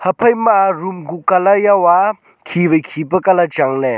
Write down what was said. haphaima room kuh colour jao a khi wai khi pe colour changle.